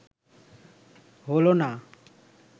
হলো না